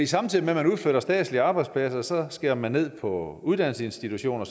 samtidig med at man udflytter statslige arbejdspladser skærer man ned på uddannelsesinstitutioner